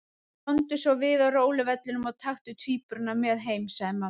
Komdu svo við á róluvellinum og taktu tvíburana með heim, sagði mamma.